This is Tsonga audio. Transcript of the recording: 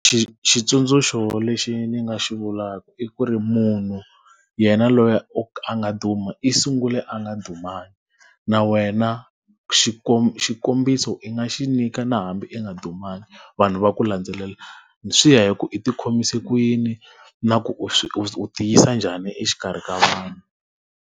xitsundzuxo lexi ndzi nga xi vulaka i ku ri munhu yena loyi a nga duma i sungule a nga dumanga. Na wena xikombiso i nga xi nyika na hambi i nga dumanga vanhu va ku landzelela. Swi ya hi ku i ti khomise ku yini na ku u ti yisa njhani exikarhi ka vanhu.